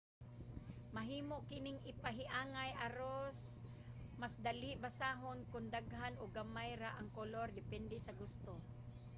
mahimo kining ipahiangay aros mas dali basahon ug kon daghan o gamay ra ang kolor depende sa gusto